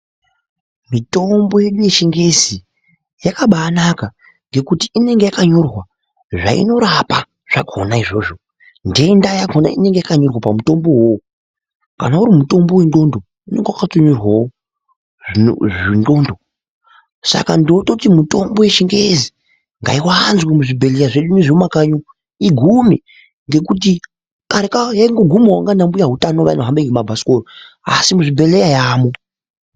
Mitombo yedu yechingezi yakabaanaka ngekuti inonga yakanyorwa zvainorapa zvakona izvozvo nhenda yakona inonge yakanyorwa pamutombo uwowo kana uri mutombo wenxlondo unonga wakatonyorwawo zvenxlondo saka ndinototi mitombo yechingezi ngaiwanzwe muzvibhehleya zvedu zvemumakanyi umu igume, ngekuti kareka yaingogumawo nanambuya utano anohamba nemabhasikoro asi muzvibhehleya yamo.